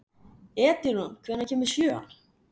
Edilon, hvenær kemur sjöan?